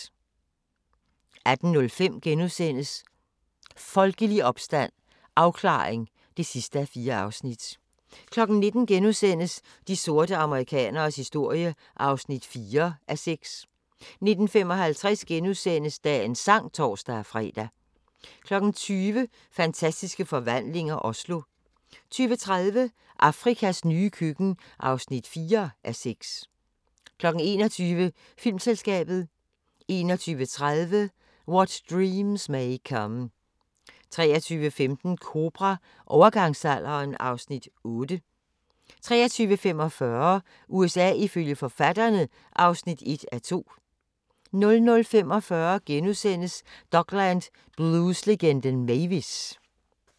18:05: Folkelig opstand – afklaring (4:4)* 19:00: De sorte amerikaneres historie (4:6)* 19:55: Dagens sang *(tor-fre) 20:00: Fantastiske Forvandlinger - Oslo 20:30: Afrikas nye køkken (4:6) 21:00: Filmselskabet 21:30: What Dreams May Come 23:15: Kobra – Overgangsalderen (Afs. 8) 23:45: USA ifølge forfatterne (1:2) 00:45: Dokland: Blueslegenden Mavis! *